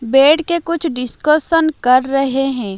बैठ के कुछ डिस्कशन कर रहे हैं।